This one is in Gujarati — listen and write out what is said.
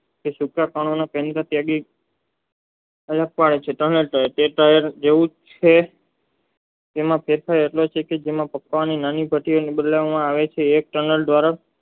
કે ચૂત પાર્નોમાં તેની અવલોકતાં હોય છે તે જેવું છે તેના એક સમાન દ્વારા